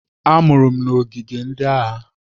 A mụrụ m n'ogige ndị agha.